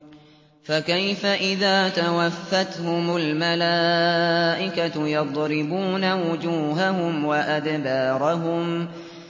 فَكَيْفَ إِذَا تَوَفَّتْهُمُ الْمَلَائِكَةُ يَضْرِبُونَ وُجُوهَهُمْ وَأَدْبَارَهُمْ